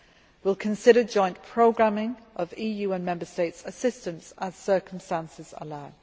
We will consider joint programming of EU and Member States' assistance as circumstances allow.